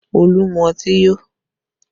Olu mú ọtí yó